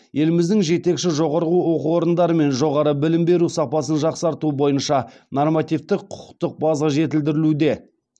еліміздің жетекші жоғары оқу орындарымен жоғары білім беру сапасын жақсарту бойынша нормативтік құқықтық база жетілдірілуде